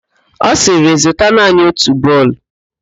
Ọ sịrị, zụta naanị otu bọọlụ!